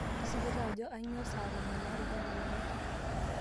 tisipu taa ajo ainyio saq tomon oare tedekenya